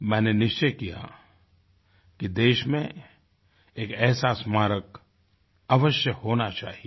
मैंने निश्चय किया कि देश में एक ऐसा स्मारक अवश्य होना चाहिये